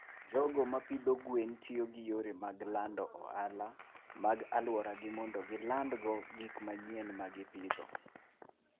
jogo ma pidho gwen tiyo gi yore mag lando ohala mag alworagi mondo gilandgo gik manyien ma gipidho.